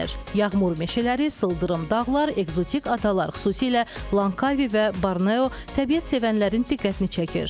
Yağmur meşələri, sıldırım dağlar, ekzotik adalar, xüsusilə Lankavi və Borneo təbiət sevənlərin diqqətini çəkir.